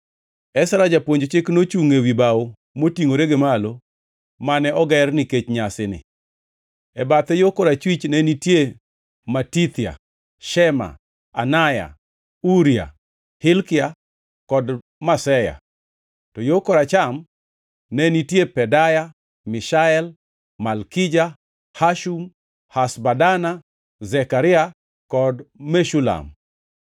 Ezra japuonj chik nochungʼ ewi bao motingʼore gi malo mane oger nikech nyasini. E bathe yo korachwich ne nitie Matithia, Shema, Anaya, Uria, Hilkia, kod Maseya; to yo koracham ne nitie Pedaya, Mishael, Malkija, Hashum, Hashbadana, Zekaria kod Meshulam.